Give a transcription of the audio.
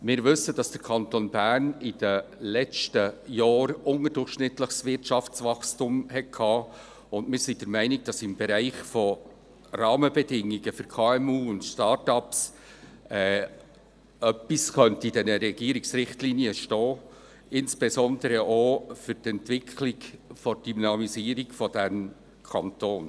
Wir wissen, dass der Kanton Bern in den letzten Jahren ein unterdurchschnittliches Wirtschaftswachstum hatte, und wir sind der Meinung, dass zum Thema Rahmenbedingungen für KMU und Start-ups etwas in den Richtlinien stehen könnte, insbesondere auch zur Entwicklung der Dynamisierung des Kantons.